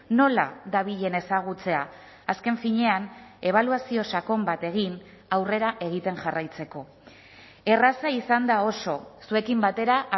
nola dabilen ezagutzea azken finean ebaluazio sakon bat egin aurrera egiten jarraitzeko erraza izan da oso zuekin batera